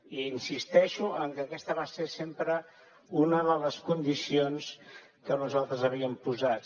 i insisteixo que aquesta va ser sempre una de les condicions que nosaltres havíem posat